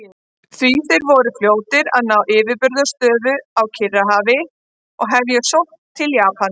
Því voru þeir fljótir að ná yfirburðastöðu á Kyrrahafi og hefja sókn til Japans.